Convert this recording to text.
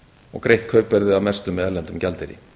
og greitt kaupverðið að mestu með erlendum gjaldeyri